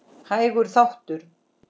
Hægur þáttur